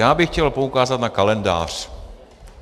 Já bych chtěl poukázat na kalendář.